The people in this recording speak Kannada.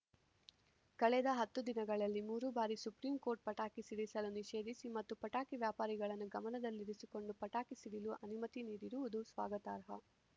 ಕಳೆದ ಹತ್ತು ದಿನಗಳಲ್ಲಿ ಮೂರು ಬಾರಿ ಸುಪ್ರಿಂಕೋರ್ಟ್‌ ಪಟಾಕಿ ಸಿಡಿಸಲು ನಿಷೇಧಿಸಿ ಮತ್ತು ಪಟಾಕಿ ವ್ಯಾಪಾರಿಗಳನ್ನು ಗಮನದಲ್ಲಿ ಇರಿಸಿಕೊಂಡು ಪಟಾಕಿ ಸಿಡಿಲು ಅನುಮತಿ ನೀಡಿರುವುದು ಸ್ವಾಗತಾರ್ಹ